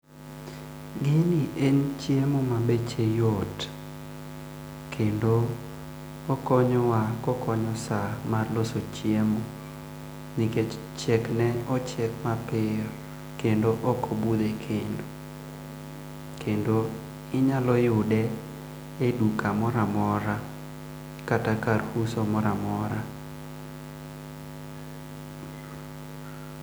Gini en chiemo mabeche yot, kendo okonyowa kokonyo saa mar loso chiemo nikech chiekne ochiek piyo kendo ok obudh ekendo. Kendo inyalo yude eduka moro amora kata kar uso moro amora.